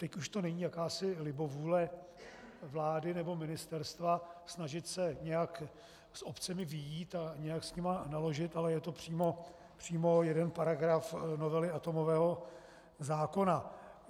Teď už to není jakási libovůle vlády nebo ministerstva snažit se nějak s obcemi vyjít a nějak s nimi naložit, ale je to přímo jeden paragraf novely atomového zákona.